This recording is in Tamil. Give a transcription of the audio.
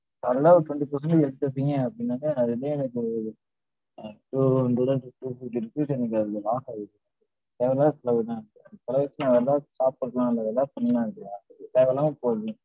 solid ஆ ஒரு twenty percentage எடுத்துப்பீங்க அப்டினாக்க, அதுலே எனக்கு ஒரு two hundred and fifty rupees எனக்கு அதுலே loss ஆயிடுச்சு. தேவயில்லாத செலவு தான். அதன் பிறகு நான் வேற எதாவது பார்த்திருக்கலாம், இல்ல எதாவது பண்லாம் இல்லையா. தேவயில்லாம போது.